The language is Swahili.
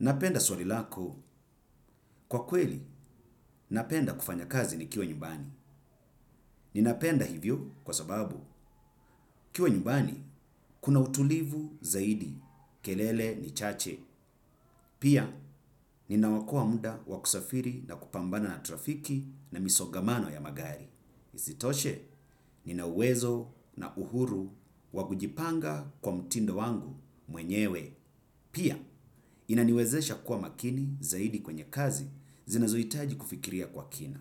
Napenda swali lako, kwa kweli, napenda kufanya kazi nikiwa nyumbani. Ninapenda hivyo kwa sababu, kiwa nyumbani, kuna utulivu zaidi, kelele ni chache. Pia, ninaokoa muda wakusafiri na kupambana na trafiki na misogamano ya magari. Isitoshe, ninauwezo na uhuru wakujipanga kwa mtindo wangu mwenyewe. Pia inaniwezesha kuwa makini zaidi kwenye kazi zinazoitaji kufikiria kwa kina.